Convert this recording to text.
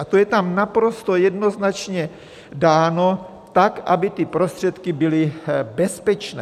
A to je tam naprosto jednoznačně dáno tak, aby ty prostředky byly bezpečné.